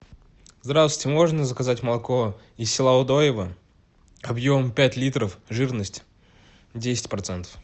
здравствуйте можно заказать молоко из села удоево объем пять литров жирность десять процентов